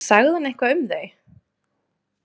Sagði hún eitthvað um þau?